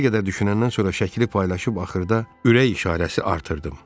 Bir qədər düşünəndən sonra şəkili paylaşıb axırda ürək işarəsi artırdım.